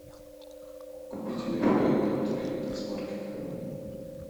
купить вай фай адаптер яндекс маркет